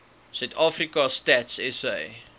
suidafrika stats sa